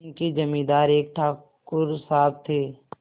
उनके जमींदार एक ठाकुर साहब थे